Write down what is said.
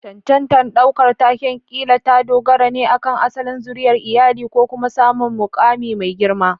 Cancantar ɗaukar taken ƙila ta dogara ne akan asalin zuriyar iyali ko kuma samun mukami mai girma.